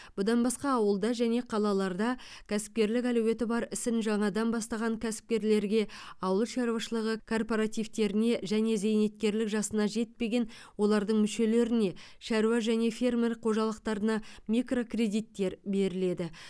бұдан басқа ауылда және қалаларда кәсіпкерлік әлеуеті бар ісін жаңадан бастаған кәсіпкерлерге ауыл шаруашылығы кооперативтеріне және зейнеткерлік жасына жетпеген олардың мүшелеріне шаруа және фермер қожалықтарына микрокредиттер беріледі